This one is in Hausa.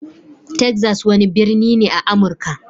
Texas wani birni ne a Amurka.